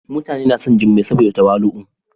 mutani na son jummai saboda tawali'u.